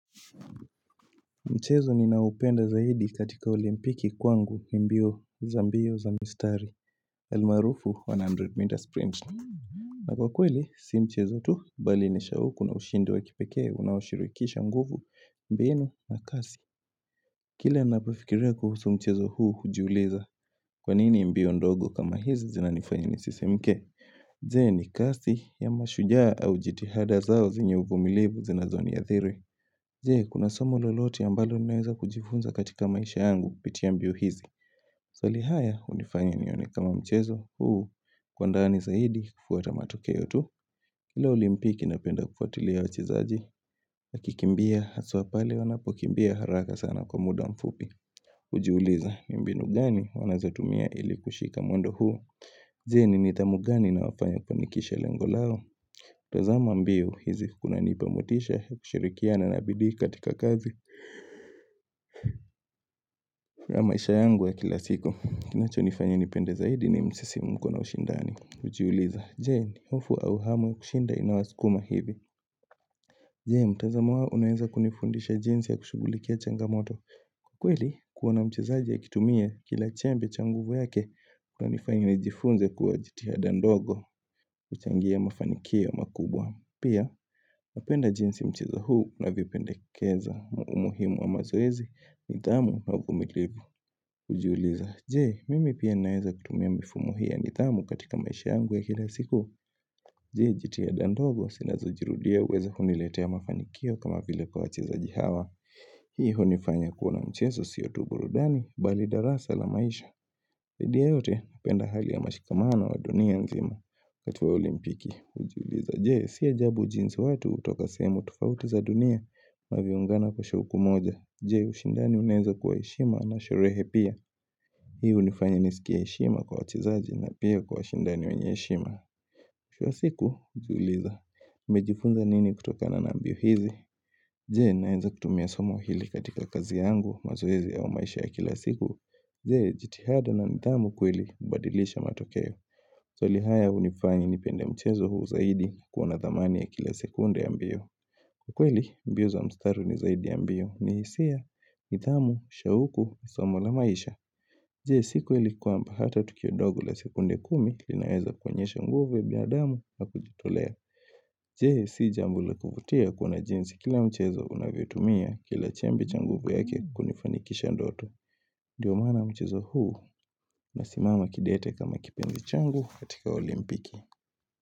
Mchezo ninaoupenda zaidi katika olimpiki kwangu ni mbio za mbio za mistari almarufu 100m sprint na kwa kweli si mchezo tu bali ni shauku na ushindi wa kipekee unaoshirikisha nguvu mbinu na kasi Kila ninapafikiria kuhusu mchezo huu hujiuliza kwa nini mbio ndogo kama hizi zinanifanya nisisimke? Je, ni kasi ama shujaa au jitihada zao zenye uvumilivu zinazoniathiri Je, kuna somo lolote ambalo ninaweza kujifunza katika maisha yangu, kupitia ambio hizi. Maswali haya, hunifanya nione kama mchezo huu kwa ndani zaidi, kufuata matokeo tu. Kila olimpiki napenda kufuatilia wachezaji, wakikimbia, haswa pale wanapokimbia haraka sana kwa muda mfupi. Hujiuliza, ni mbinu gani wanazotumia ili kushika mwendo huu. Je, ni nidhamu gani inawafanya wafanikishe lengo lao. Tazama mbio hizi kunanipa motisha ya kushirikiana na bidii katika kazi ya maisha yangu ya kila siku. Kinachonifanya nipende zaidi ni msisimko na ushindani Hjiuliza, je, hofu au hamu ya kushinda inawasukuma hivi? Je, mtazamo wao unuweza kunifundisha jinsi ya kushughulikia changamoto kweli, kuona mchezaji akitumia kila chembe cha nguvu yake kunanifanya nijifunze kuwa jitiada ndogo huchangia mafanikio makubwa. Pia, napenda jinsi mchezo huu navipendekeza umuhimu wa mazoezi, nidhamu au uvumilivu. Hujiuliza, je, mimi pia naweza kutumia mifumu hii ya nidhamu katika maisha yangu ya kila siku Je, jitihada ndogo, zinazojirudia huweza kuniletea mafanikio kama vile kwa wachezaji hawa Hii hunifanya kuona mchezo sio tu burudani, bali darasa la maisha Zaidi ya yote, napenda hali ya mashikamano wa dunia nzima, wakati wa olimpiki hujiuliza, je, si ajabu jinsi watu hutoka sehemu tofauti za dunia MWanavyoungana kwa shauku moja. Je, ushindani unaweza kuwa heshima na sherehe pia Hii hunifanya nisikie heshima kwa wachezaji na pia kwa washindani wenye heshima Kila siku hujiuliza, nimejifunza nini kutokana na mbio hizi? Je, nawenza kutumia somo hili katika kazi yangu, mazoezi au maisha ya kila siku? Je, jitihada na nidhamu kweli hubadilisha matokeo. Swali haya hunifani nipenda mchezo huu zaidi kuona thamani ya kila sekunde ya mbio Kwa kweli mbio za mstari ni zaidi ya mbio. Ni hisia, nidhamu, shauku, somo la maisha. Je, si kweli kwamba hata tukio ndogo la sekunde kumi linaweza kuonyesha nguvu ya biadamu na kujitolea Je, si jambo la kuvutia kuona jinsi kila mchezo unavyotumia kila chembe cha nguvu yake kunifanikisha ndoto Ndio maana mchezo huu nasimama kidete kama kipenzi changu kaktika olimpiki.